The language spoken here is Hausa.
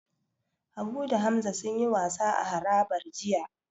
Habu da Hamza sunyi wasa a harabar jiya.